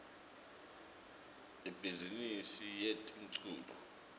ibhizimisi yetemculo